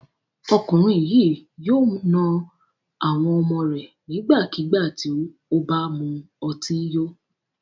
Ọkùnrin yìí yóò na àwọn ọmọ rẹ̀ nígbàkigbà tí ó bá mu ọtí yó.